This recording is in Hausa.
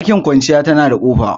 Ɗakin kwanciya tana da kofa